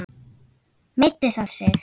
Meiddi það sig?